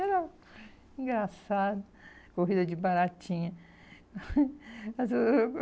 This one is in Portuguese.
Era engraçado, corrida de baratinha.